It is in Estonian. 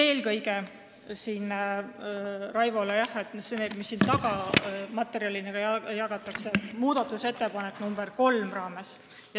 Ütlen Raivole, et ma pean seda kõike öeldes silmas muudatusettepanekut nr 3.